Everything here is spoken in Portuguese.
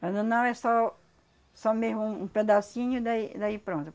Quando não, é só só mesmo um um pedacinho e daí daí pronto.